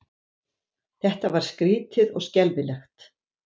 Þetta var skrýtið og skelfilegt.